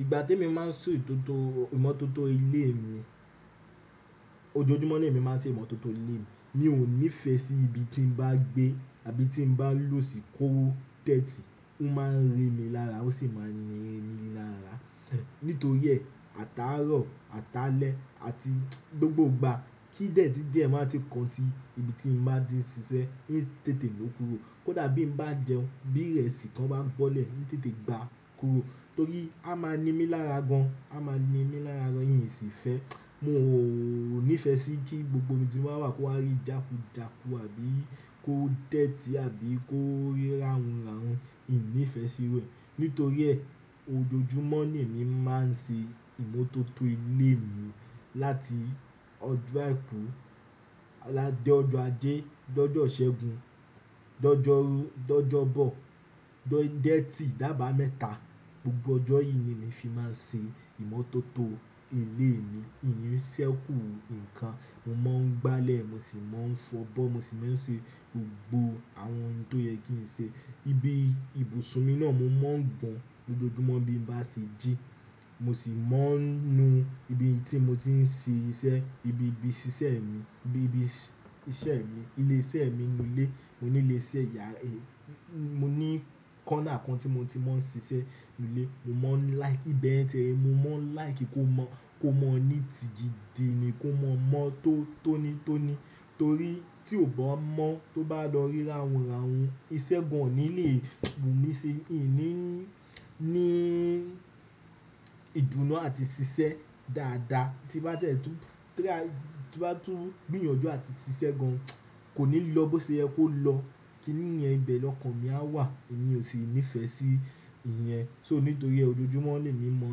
Ìgbà tí mo máa ń so ìmótótó ilé mi, ojoojúmọ́ ni èmi máa ń ṣe ìmótótó ilé mi. Mi ò nífẹ̀ẹ́ sí ibi tí n bá gbé àbí tí n bá lò tí kò dẹ̀tì. Ó máa ń rìn mí lára ó sì máa ń yin mí lára. Nítorí ẹ, ataárọ̀, atalè àti gbogbo ìgbà kí dẹ̀tí díẹ̀ má tí kan sí ibi tí mo bá ti ń ṣiṣẹ́, ó ń tètè ló kúrò. Kódà bí n bá jẹun, bí irẹsì to bá bọ́lẹ̀, i ń tètè gba kúrò. Torí á máa ni mí lára gan, á máa ni mí lára gan, ìyẹn sì fẹ́. Mo ò nífẹ̀ẹ́ sí kí gbogbo ibi tí mo bá wà kó wá rí jàkújàkù àbí kó dẹ̀tì àbí kó rí ràhunràhun. Ìní ìfẹ sí rẹ̀. Nítorí ẹ, ojoojúmọ́ ni èmi máa ń ṣe ìmótótó ilé mi láti ọjọ́ àìkú, dé ọjọ́ ajé, de ọ́jọ́ ìṣẹ́gun, de ọ́jọ́rú, de ọ́jọ́bọ, de ijo etì, dábàá mẹ́ta. Gbogbo ọjọ́ yìí ni èmi fi máa ń ṣe ìmótótó ilé mi. Ìyẹn ṣẹ́kù nǹkan. Mo máa ń gbálẹ̀, mo sì máa ń fọ'bọ́, mo sì máa ń ṣe gbogbo àwọn ohun tó yẹ kí n ṣe. Ibi ibùsùn mi náà mo máa ń gbọn gbogbo ojúmọ́ bí n bá ṣe jí. Mo sì máa ń nu ibi tí mo ti ń ṣe iṣẹ́, ibi ibi ṣiṣẹ́ mi, ibi ibi iṣẹ́ mi, ilé iṣẹ́ mi nù ilé. Mo ní ilé iṣẹ́ yá ra. Mo ní corner kan tí mo ti máa ń ṣiṣẹ́ nù ilé. Mo mọ́ like, ìbẹ́ẹ̀ tẹ́ẹ́. Mo mọ́ like kó mọ́, kó mọ nítii gìdi ni, kó mọ mọ́ tó, tó ní, tó ní. Torí tí ò bá mọ́ tó bá lọ rí ràhunràhun, iṣẹ́ gan-an ni lè mú mi ṣe. Ìní ní ìdùnnú àti ṣiṣẹ́ dáadáa. Tí bá tẹ́ẹ́ tú, tí bá tún gbìyànjú àti ṣiṣẹ́ gan-an kò ní lọ bó ṣe ẹ kó lọ. Kí ni yẹn ibẹ̀ lọkàn mi a wà. Èmi ò sì nífẹ̀ẹ́ sí ìyẹn. So nítorí ẹ ojoojúmọ́ ni èmi mọ́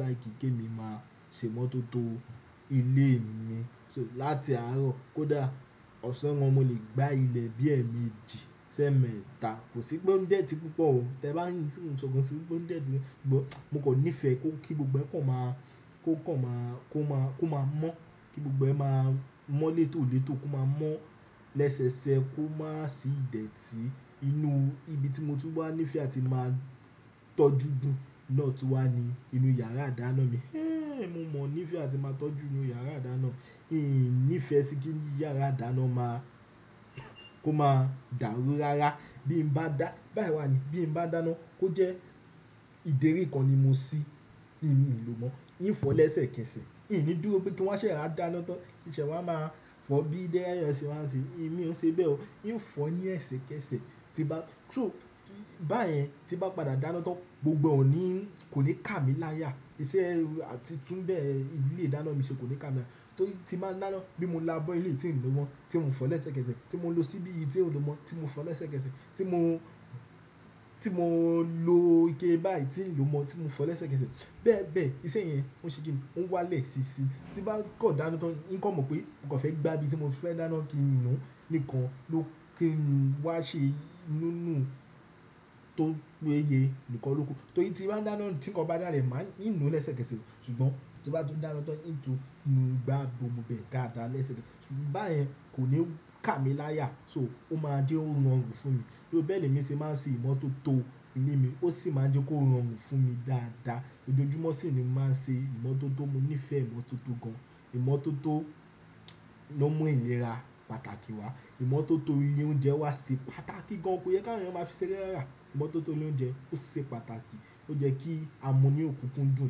like gé mi máa ṣe ìmótótó ilé mi. So láti aarọ kódà ọ̀sán wọn, mo lè gbá ilẹ̀ bí ẹ́ mẹ́jì, ṣẹ́ mẹ́ta. Kò sí pé ó ń dẹ̀tì púpọ̀ o. Tẹ́ ẹ bá yín tí mo ń sọ gan-an síi pé kó dẹ̀tì, mo kò nífẹ̀ẹ́ kó, kí gbogbo ẹ́ kọ̀ máa, kó kọ̀ máa, kó máa, kó máa mọ́. Kí gbogbo ẹ́ máa mọ́ létòlètò kó máa mọ́ lẹ́sẹsẹ kó má sì dẹ̀tì. Inú ibi tí mo tú bá nífẹ̀ẹ́ àti máa tọ́jú dùn náà tún wà ní inú yàrá àdáná mi. Hé! Mo mọ nífé àti máa tọ́jú inú yàrá àdáná. Ìní ìfẹ́ sí kí yàrá àdáná máa, kó máa dàrúràrá. Bí n bá dá, báyìí wà ni, bí n bá dáná kó jẹ́ ìdérí kan ni mo sí, èmi ò lò mọ́. Ìní fọ́ lẹ́sẹ̀kẹsẹ̀. Ìní dúró bí kí wọ́n ṣẹ̀ẹ́ra dáná tán. Ìṣẹ́ wà máa fọ̀ bí i dé ẹ́yàn ṣe máa ń ṣe. Èmi ò ṣe bẹ́ẹ̀ o. Ìní fọ́ ní ẹsẹkẹsẹ̀. Tí bá, so báyẹn tí bá padà dáná tán gbogbo ẹ́ ò ní, kò lè kà mí láyà. Iṣẹ́ àti tún bẹ yẹn ìlé ìdáná mi ṣe kò lè kà mí lá Torí tí bá dáná bí mo lábọ́ ilé tí n lò mọ́, tí mò ń fọ lẹ́sẹ̀kẹsẹ̀, tí mò ń lo síbí tí n lò mọ́, tí mò ń fọ lẹ́sẹ̀kẹsẹ̀, tí mò, tí mò ń lo ike báyìí tí n lò mọ́, tí mò ń fọ lẹ́sẹ̀kẹsẹ̀. Bẹ́ẹ̀ bẹ́ẹ̀ iṣẹ́ yẹn ó ṣe kí n, ó wá lẹ̀ sísi. Tí bá kàn dáná tán, yín kò mọ̀ pé o kàn fẹ́ gbá ibi tí mo fẹ́ dáná kí n nu. Nìkan ló kí n wá ṣe inú inú tó péye nìkan ló kù. Torí tí bá dáná tí nkàn bá dàlẹ̀ máa ìnú lẹ́sẹ̀kẹsẹ̀. Ṣùgbọ́n tí bá tún dáná tán, ìnú tú nu gba gbogbo bẹ́ẹ̀ gáàdá lẹ́sẹ̀kẹsẹ̀. Ṣùgbọ́n báyẹn kò ní kà mí láyà. So ó máa jẹ́ ó rọrùn fún mi. Bí ó bẹ́ẹ̀ ni èmi ṣe máa ń ṣe ìmótótó ilé mi. Ó sì máa jẹ́ kó rọrùn fún mi dáadáa. Ojoojúmọ́ sì ni mò ń ṣe ìmótótó. Mo nífẹ̀ẹ́ ìmótótó gan-an. Ìmótótó ló mú ìlera pàtàkì wá. Ìmótótó ilé oúnjẹ wá ṣe pàtàkì gan. Ko yẹ ká ẹ̀yàn bá ṣe rẹ́rẹ́ rà. Ìmótótó ilé oúnjẹ ó ṣe pàtàkì. Ó jẹ́ kí a mú ní òkúkú dùn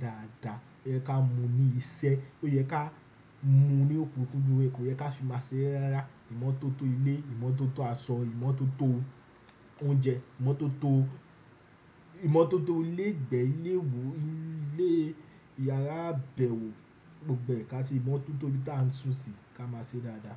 dáadáa. Ó yẹ ká mú ní isẹ́. Ó yẹ ká mú ní òkúnkúndun. Ko yẹ ká fi máa ṣe rẹ́rẹ́ rà. Ìmótótó ilé, ìmótótó aṣọ, ìmótótó oúnjẹ, ìmótótó, ìmótótó ilé ìgbẹ́, ilé wò, ilé yàrá àbẹ̀wò, gbogbo ẹ́ ká ṣe ìmótótó bí táà ń túnṣe ká máa ṣe dáadáa.